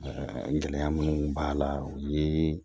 gɛlɛya minnu b'a la o ye